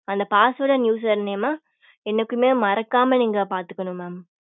அந்த password and username ஆ என்னைக்குமே மறக்காம நீங்க பார்த்துக்கணு mam